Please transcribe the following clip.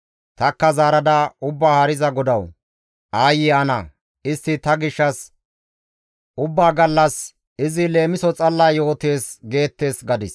Tanikka zaarada, «Ubbaa Haariza GODAWU! Aayye ana! Istti ta gishshas ubbaa gallas, ‹Izi leemiso xalla yootees› geettes» gadis.